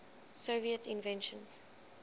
soviet inventions